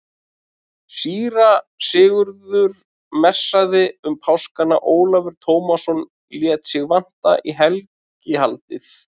Síra Sigurður messaði um páskana, Ólafur Tómasson lét sig vanta í helgihaldið.